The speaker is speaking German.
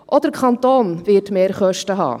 Auch der Kanton wird Mehrkosten haben: